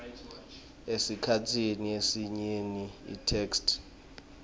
esikhatsini lesinyenti itheksthi